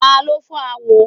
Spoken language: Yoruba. Taló fọ́ àwo?